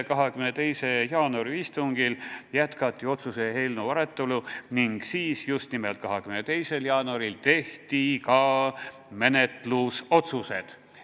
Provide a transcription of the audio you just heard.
22. jaanuari istungil jätkati otsuse eelnõu arutelu ning siis tehti ka menetlusotsused.